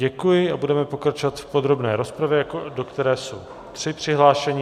Děkuji a budeme pokračovat v podrobné rozpravě, do které jsou tři přihlášení.